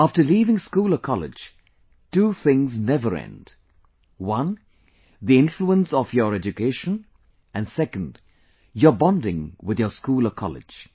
After leaving school or college, two things never end one, the influence of your education, and second, your bonding with your school or college